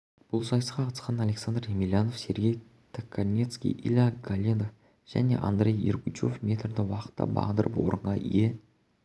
бұл сайысқа қатысқан александр емельянов сергей токарницкий илья голендов жәнеандрей ергучв метрді уақытта бағындырып орынға ие